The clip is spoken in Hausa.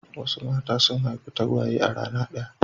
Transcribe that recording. Wasu mata sun haifi tagwaye a rana ɗaya.